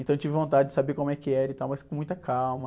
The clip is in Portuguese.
Então eu tive vontade de saber como é que era e tal, mas com muita calma.